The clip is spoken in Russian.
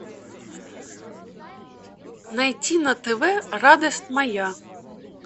найти на тв радость моя